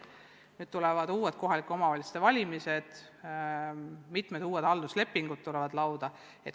Ja peagi tulevad järjekordsed kohalike omavalitsuste valimised, mitmed uued halduslepingud tulevad lauale.